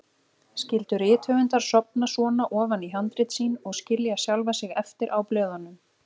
Skyldu rithöfundar sofna svona ofan í handrit sín og skilja sjálfa sig eftir á blöðunum?